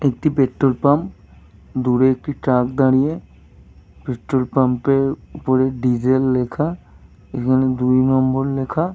একটি petrol pump. দূরে একটি ট্রাক দাঁড়িয়ে। পেট্রোল পাম্পের উপরের ডিজেল লেখা। এখানে দুই নম্বর লেখা।